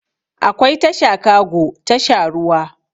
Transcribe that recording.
Akwai tasha kago tasha ruwa